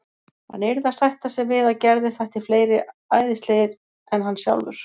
Hann yrði að sætta sig við að Gerði þætti fleiri æðislegir en hann sjálfur.